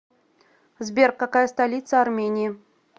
сбер какая столица армении